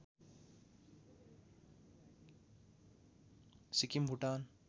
Sikkim Bhutan